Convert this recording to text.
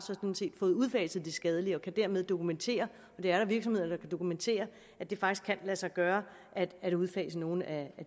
fået udfaset de skadelige og dermed kan dokumentere og det er der virksomheder der kan dokumentere at det faktisk kan lade sig gøre at udfase nogle af